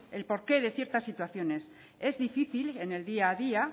el porqué de ciertas situaciones es difícil en el día a día